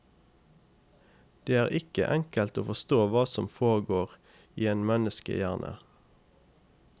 Det er ikke enkelt å forstå hva som foregår i en menneskehjerne.